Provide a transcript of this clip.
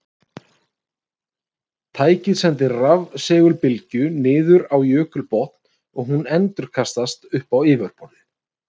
Tækið sendir rafsegulbylgju niður á jökulbotn og hún endurkastast upp á yfirborð.